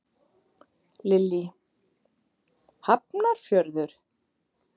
Lillý: Hafnarfjörður?